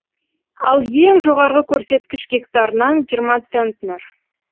ал ең жоғарғы көрсеткіш гектарынан жиырма центнер